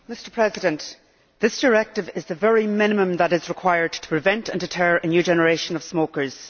Mr President, this directive is the very minimum that is required to prevent and deter a new generation of smokers.